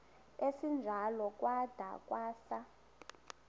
esinjalo kwada kwasa